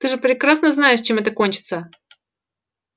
ты же прекрасно знаешь чем это кончится